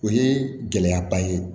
O ye gɛlɛyaba ye